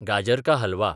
गाजर का हलवा